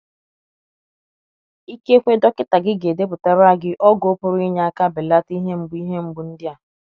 Ikekwe dọkịta gị ga edepụtara gị ọgwụ pụrụ inye aka belata ihe mgbu ihe mgbu ndị a.